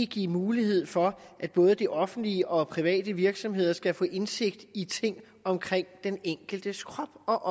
give mulighed for at både det offentlige og private virksomheder skal få indsigt i ting omkring den enkeltes krop og